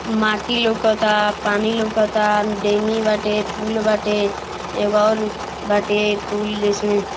माटी लोकाता पानी लोकाता डेंगी बाटे पूल बाटे एगो और बाटे पूल जिसमे।